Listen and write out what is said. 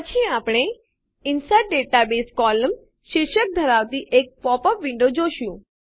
પછી આપણે insert database columns શીર્ષક ધરાવતી એક પોપ અપ વિન્ડો જોશું